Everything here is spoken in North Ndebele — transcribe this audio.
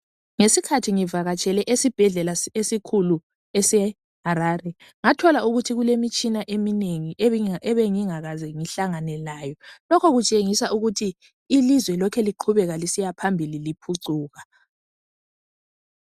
Ngesikhathi ngivakatshele esibhedlela esikhulu e Harare ngathola ukuthi kulemitshina eminengi ebengingakaze ngihlangane layo lokhu kutshengisa ukuthi ilizwe liloke lisiya phambili ngokuphucuka